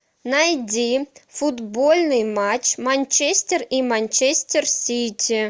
найди футбольный матч манчестер и манчестер сити